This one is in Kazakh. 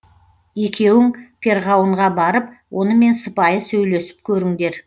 екеуің перғауынға барып онымен сыпайы сөйлесіп көріңдер